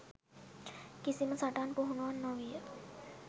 කිසිම සටන් පුහුණුවක් නොවීය.